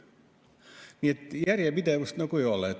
Nii et järjepidevust ei ole.